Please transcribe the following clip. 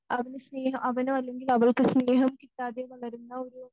അവന് സ്നേഹം അവന് അല്ലെങ്കിൽ അവൾക്ക് സ്നേഹം കിട്ടാതെ വളരുന്ന ഒരു